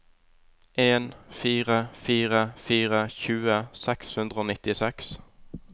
en fire fire fire tjue seks hundre og nittiseks